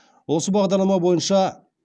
осы бағдарлама бойынша